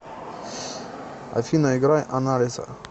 афина играй анналиса